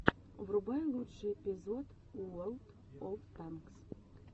врубай лучший эпизод уорлд оф танкс